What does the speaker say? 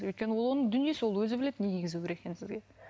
өйткені ол оның дүниесі ол өзі біледі не кигізу керек екнін сізге